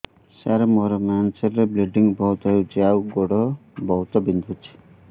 ସାର ମୋର ମେନ୍ସେସ ହେଲେ ବ୍ଲିଡ଼ିଙ୍ଗ ବହୁତ ହଉଚି ଆଉ ଗୋଡ ବହୁତ ବିନ୍ଧୁଚି